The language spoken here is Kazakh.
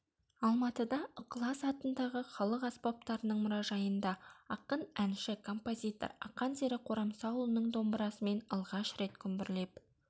алматыда ықылас атындағы халық аспаптарының мұражайында ақын әнші композитор ақан сері қорамсаұлының домбырасымен алғаш рет күмбірлеп